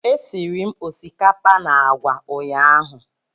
Esiri m osikapa na agwa ụnyahụ